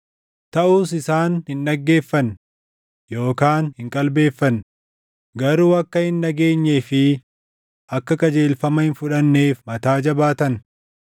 Taʼus isaan hin dhaggeeffanne yookaan hin qalbeeffanne; garuu akka hin dhageenyee fi akka qajeelfama hin fudhanneef mataa jabaatan.